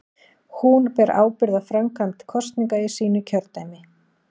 Hún ber ábyrgð á framkvæmd kosninga í sínu kjördæmi.